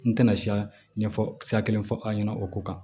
N tɛna siya ɲɛfɔ sira kelen fɔ an ɲɛna o ko kan